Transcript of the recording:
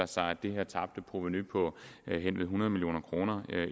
sig at det her tabte provenu på hen ved hundrede million kroner